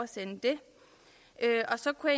så kunne